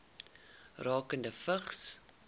rakende vigs